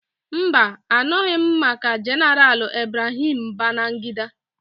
Mba, a nụghị m maka Jeneral Ibrahim Babangida.